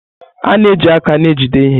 A na-eji aka na-ejide ihe.